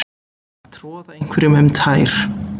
Að troða einhverjum um tær